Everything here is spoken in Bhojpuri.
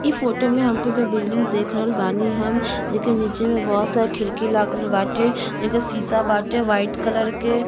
इ फोटो मे हमके बिल्डिंग देख रहल बानी हम लेकिन नीचे मे बहुत सारा खिड़की लागल बाटे। जेके सीसा बाटे वाइट कलर के।